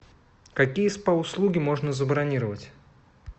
какие спа услуги можно забронировать